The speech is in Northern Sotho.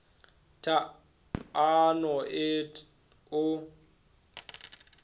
t a no et o